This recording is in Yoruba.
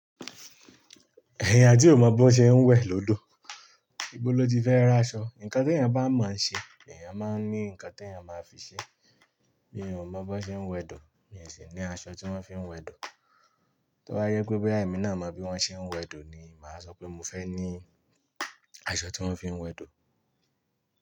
Ẹ̀eyan tí ò mọ̀ bọ́ ṣe ń wẹ́ lódò, ìbó ló ti fẹ́ ri aṣọ? Ǹǹkan tí èeyàn bá mo ń ṣe, lèyàn máa ń ní ǹkan tí ènìyàn máa fi ṣe. Bí mi ò mọ̀ bon ṣe ń wẹ dò, mi sì ní aṣọ tí wọ́n fi ń wẹ dò. Tí ó bá jẹ pé boya èmi náà mọ bí wọ́n ṣe ń wẹdò ni, màá sọ pé mo fẹ́ ní aṣọ tí wọ́n fi ń wẹdò.